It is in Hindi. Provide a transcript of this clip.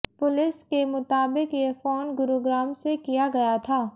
पुलिस के मुताबिक ये फोन गुरुग्राम से किया गया था